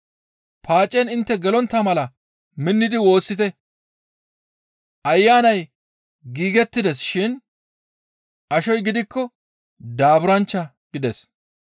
Paacen intte gelontta mala minnidi woossite; ayanay giigettides shin ashoy gidikko daaburanchcha» gides.